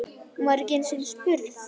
Hún var ekki einu sinni spurð!